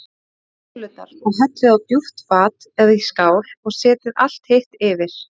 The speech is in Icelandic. Sigtið núðlurnar og hellið á djúpt fat eða í skál og setjið allt hitt yfir.